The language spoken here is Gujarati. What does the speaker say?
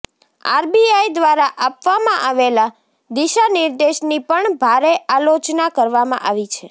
આરબીઆઈ દ્વારા આપવામાં આવેલા દિશાનિર્દેશની પણ ભારે આલોચના કરવામાં આવી છે